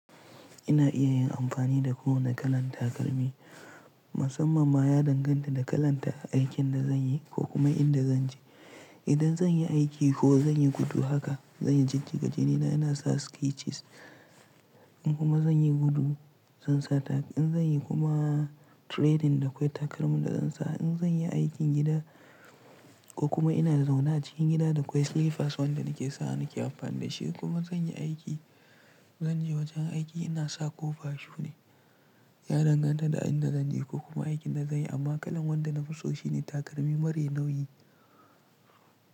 Ina iya yin amfani da kowane kalan takalmi, musamman ma ya danganta da kalanda aikin da zanyi ko kuma inda zanje. Idan zanyi aiki ko zanyi gudu haka, zanyi jijjiga jinina ina sa sketches in kuma zanyi gudu zan sa tag. In zanyi kuma training da kwai takalmin da zan sa, in zanyi aikin gida ko kuma ina zauna a cikin gida da kwai sleepers wanda nake sawa nake amfani da shi. Kuma zanyi aiki, zanje wajen aiki ina sa koba shu ne. Ya danganta da inda zanje ko kuma aikin da zanyi amma kalan wanda nafi so shine takalmi marai nauyi.